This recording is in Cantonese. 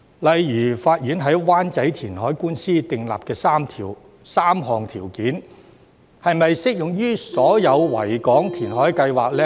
例如，法院在灣仔填海官司訂立的3項條件，是否適用於所有維港填海計劃呢？